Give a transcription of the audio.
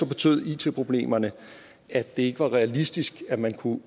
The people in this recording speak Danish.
betød it problemerne at det ikke var realistisk at man kunne